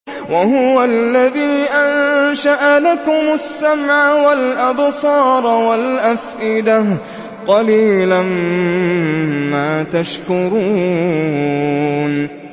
وَهُوَ الَّذِي أَنشَأَ لَكُمُ السَّمْعَ وَالْأَبْصَارَ وَالْأَفْئِدَةَ ۚ قَلِيلًا مَّا تَشْكُرُونَ